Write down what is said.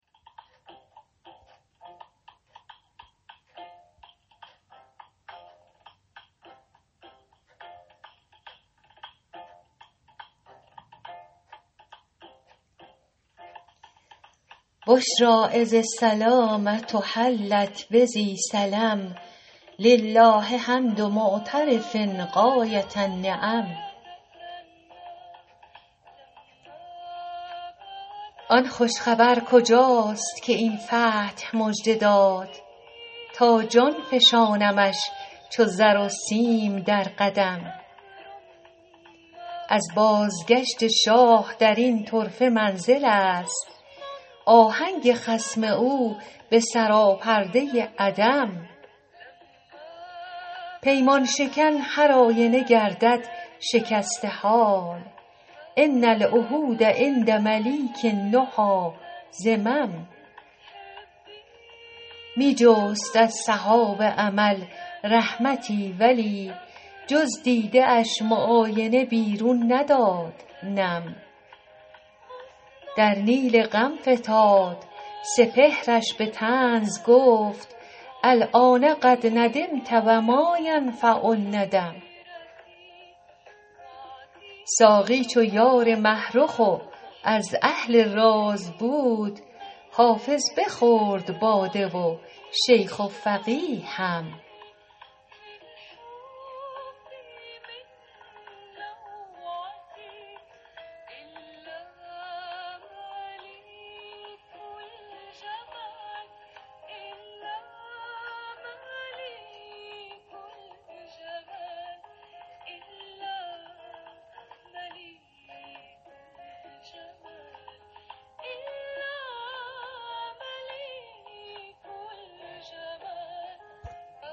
بشری اذ السلامة حلت بذی سلم لله حمد معترف غایة النعم آن خوش خبر کجاست که این فتح مژده داد تا جان فشانمش چو زر و سیم در قدم از بازگشت شاه در این طرفه منزل است آهنگ خصم او به سراپرده عدم پیمان شکن هرآینه گردد شکسته حال ان العهود عند ملیک النهی ذمم می جست از سحاب امل رحمتی ولی جز دیده اش معاینه بیرون نداد نم در نیل غم فتاد سپهرش به طنز گفت الآن قد ندمت و ما ینفع الندم ساقی چو یار مه رخ و از اهل راز بود حافظ بخورد باده و شیخ و فقیه هم